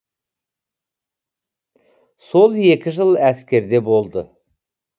сол екі жыл әскерде болды